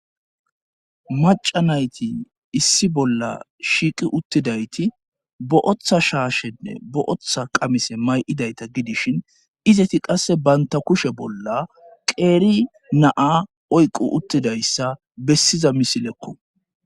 Maca nayti issi bolla shiiqi uttidayti bo'otha shaashenne bo7oththa qamise may'idayta gidishin izeti qasse banta kushe bolla qeeri naa oyqu uttidayssa bessiza misilekko.